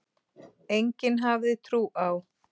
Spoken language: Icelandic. Enginn hafði trú á